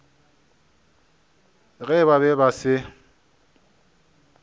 ge ba be ba se